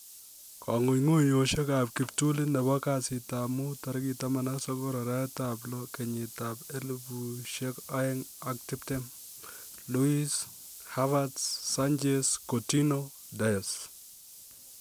Kong'ung'uyosiekab kiptulit nebo kasiitab mut 19/06/2020: Luiz, Havertz, Sanchez, Coutinho, Dyche